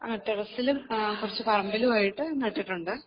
ആ ടെറസിലും കുറച്ച് പറമ്പിലുമായിട്ട് നട്ടിട്ടുണ്ട്